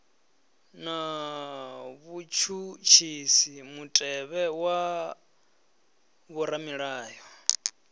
na vhutshutshisi mutevhe wa vhoramilayo